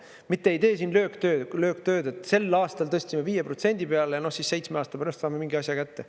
Mitte ei tee siin lööktööd, et sel aastal tõstsime 5% peale, siis seitsme aasta pärast saame mingi asja kätte.